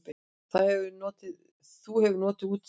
Þú hefur notið útsýnisins?